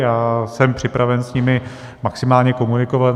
Já jsem připraven s nimi maximálně komunikovat.